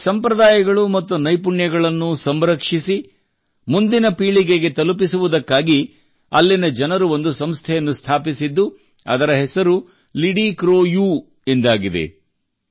ಈ ಸಂಪ್ರದಾಯಗಳು ಮತ್ತು ನೈಪುಣ್ಯಗಳನ್ನು ಸಂರಕ್ಷಿಸಿ ಮುಂದಿನ ಪೀಳಿಗೆಗೆ ತಲುಪಿಸುವುದಕ್ಕಾಗಿ ಅಲ್ಲಿನ ಜನರು ಒಂದು ಸಂಸ್ಥೆಯನ್ನು ಸ್ಥಾಪಿಸಿದ್ದು ಅದರ ಹೆಸರು ಲಿಡಿಕ್ರೋಯೂ ಎಂದಾಗಿದೆ